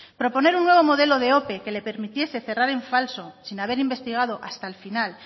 proponer un nuevo modelo de ope que le permitiese cerrar en falso sin haber investigado hasta el final